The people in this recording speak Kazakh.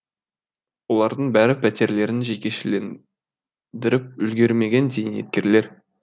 олардың бәрі пәтерлерін жекешелендіріп үлгермеген зейнеткерлер